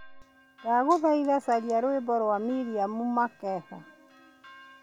Ndagũthaitha, caria rwĩmbo rwa Miriam Makeba